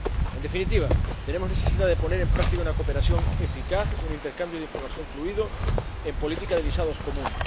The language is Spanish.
En definitiva, es necesario poner en práctica una cooperación eficaz, un intercambio de información fluido, en la política de visados común.